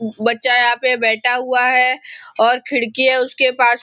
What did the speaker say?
बच्चा यहाँ पे बैठा हुआ है और खिड़की है उसके पास--